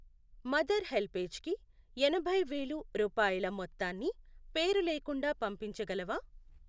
Mother హెల్పేజ్కికి ఎనభై వేలు రూపాయల మొత్తాన్ని పేరులేకుండా పంపించగలవా?